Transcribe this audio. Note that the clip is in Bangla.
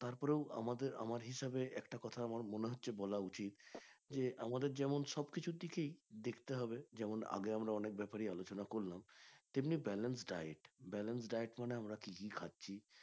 তারপরেও আমাদের আমার হিসেবে একটা কথা আমার মনে হচ্ছে বলা উচিত যে আমাদের যেমন সব কিছুটিকেই দেখতে হবে যেমন আগে আমরা অনেক ব্যাপারেই আলোচনা করলাম এমনি balance diet balance diet মানে আমরা কি কি খাচ্ছি